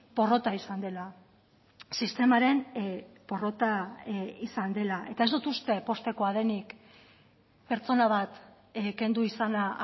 porrota izan dela sistemaren porrota izan dela eta ez dut uste poztekoa denik pertsona bat kendu izana